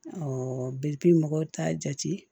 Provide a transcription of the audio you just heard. mɔgɔw t'a jate